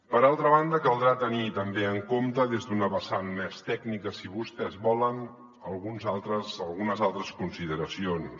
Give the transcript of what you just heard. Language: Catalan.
per altra banda caldrà tenir també en compte des d’una vessant més tècnica si vostès volen algunes altres consideracions